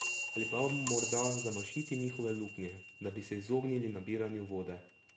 Ali pa morda zamašiti njihove luknje, da bi se izognili nabiranju vode?